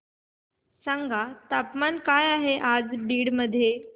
सांगा तापमान काय आहे आज बीड मध्ये